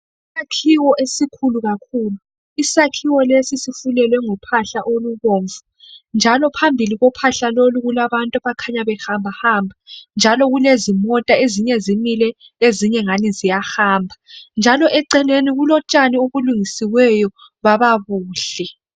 Isakhiwo esikhulu kakhulu Isakhiwo lesi sifulelwe ngophahla olubomvu njalo phambi kophahla lolu kulabantu abakhanya behamba hamba njalo kulezimota ezinye zimile ezinye zingani ziyahamba njalo eceleni kulotshani obulungiswe baba buhle.